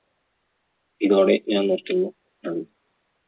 ഇതോടെ ഞാൻ നിർത്തുന്നു. നന്ദി!